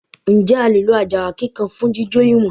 Ǹjẹ́ a lè lo àjàrà kíkan fún jíjò ìwọ̀n?